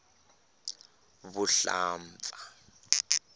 vuhlampfa